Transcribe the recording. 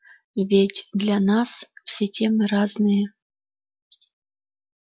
и ведь для нас все темы разные